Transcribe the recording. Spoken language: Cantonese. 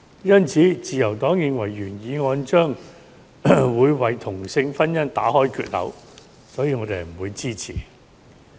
因此，自由黨認為原議案將會為同性婚姻打開缺口，所以我們不會支持。